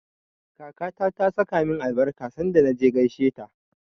Kakata ta saka min albarka sanda na je gaisheta.